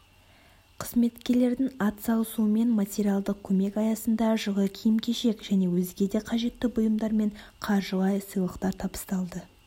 қызметкерлердің ат салысуымен материалдық көмек аясында жылы киім-кешек және өзге де қажетті бұйымдармен қаржылай сыйлықтар табысталды